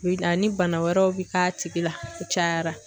Bi ani bana wɛrɛw bi k'a tigi la o cayara